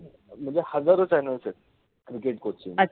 मनजे हजारो channels आहेत cricket coach चे